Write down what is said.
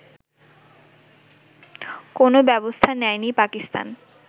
কোনও ব্যবস্থা নেয়নি পাকিস্তান